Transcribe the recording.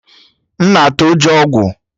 Mma na-atụ ụjọ ogwu